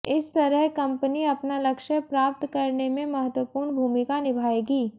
इस तरह कम्पनी अपना लक्ष्य प्राप्त करने में महत्वपूर्ण भूमिका निभाएंगी